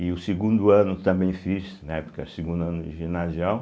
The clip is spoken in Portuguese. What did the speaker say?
E o segundo ano também fiz, na época, segundo ano ginasial.